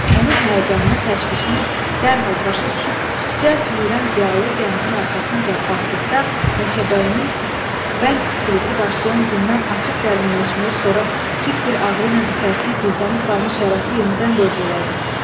Onun həyəcanını, təşvişini dərhal başa düşüb, cəld yüyürən ziyalı gəncin arxasınca baxdıqda, meşəbəyinin bənd tikilisi başlayan gündən açıb dərinləşmiş, sonra küt bir ağrı ilə içərisində gizlənib qalmış yarası yenidən qövr elədi.